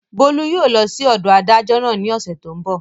Bólú yóò lọ sí ọ̀dọ̀ adájọ́ náà ní ọ̀sẹ̀ tó n bọ̀